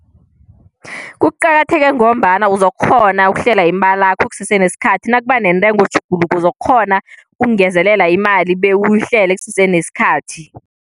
Kuqakatheke ngombana uzokukghona ukuhlela imalakho kusese nesikhathi nakuba neentengo tjhuguluko uzokukghona ukungezelela imali bewuyihlele kusese nesikhathi.